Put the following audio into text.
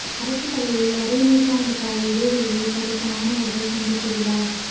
அரசுப் பள்ளியில் அரை நூற்றாண்டு கால இடைவெளியில் படித்த மாணவா்கள் சந்திப்பு விழா